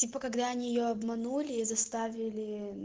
когда нее обманули и заставили